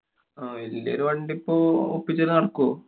ആഹ് വല്യ ഒരു വണ്ടിപ്പോ ഒപ്പിച്ചാലു നടക്കോ?